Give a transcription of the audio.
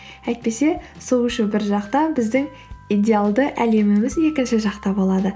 әйтпесе су ішу бір жақта біздің идеалды әлеміміз екінші жақта болады